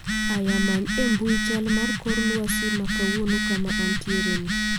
aya many embui chal mar kor lwasi makawuono kama antiere ni